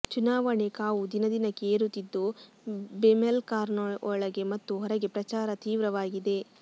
ಚುನಾವಣೆ ಕಾವು ದಿನದಿನಕ್ಕೆ ಏರುತ್ತಿದ್ದು ಬೆಮೆಲ್ಕಾರ್ಖಾನೆಯೊಳಗೆ ಮತ್ತು ಹೊರಗೆ ಪ್ರಚಾರ ತೀವ್ರವಾಗಿದೆ